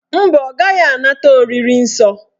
Mba, ọ gaghị anata oriri nsọ